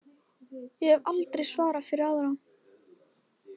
Ég hef aldrei svarað fyrir aðra.